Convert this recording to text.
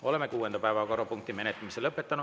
Oleme kuuenda päevakorrapunkti menetlemise lõpetanud.